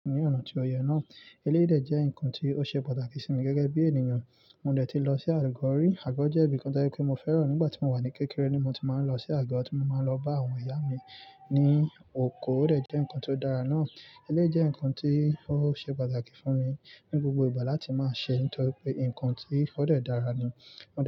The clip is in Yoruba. Ní ọ̀nà tí ó yẹ náà, eleyi de jẹ́ ǹkan tí ó ṣe pàtàkì sí mi gẹ́gẹ́ bí ènìyàn. Mo dẹ̀ ti lọ sí Àgo, Àgọ́ jẹ́ ibi kan tọ́je pé mo fẹ́ràn nígbà tí mo wà ní kékeré ni mo ti máa ń lọ sí Àgọ́, tí mo máa ń lọ bá àwọn ìyá mi ní oko, ó dẹ̀ jẹ́ ǹkan tó dára náà. Eleyi jẹ́ ǹkan tí ó ṣe pàtàkì fún mi ní gbogbo ìgbà láti máa ṣe nítorí pé ǹkan tí o dẹ̀ dára ni.